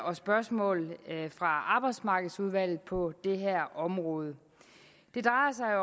og spørgsmål fra arbejdsmarkedsudvalget på det her område det drejer sig